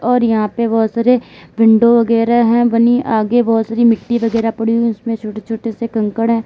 और यहां पे बहोत सारे विंडो वगैरा हैं बनी आगे बहोत सारी मिट्टी वगैरह पड़ी हुई उसमें छोटे छोटे से कंकड़ हैं।